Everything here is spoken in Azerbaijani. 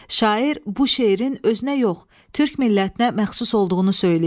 Şair bu şeirin özünə yox, Türk millətinə məxsus olduğunu söyləyib.